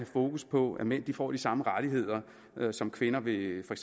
fokus på at mænd får de samme rettigheder som kvinder ved for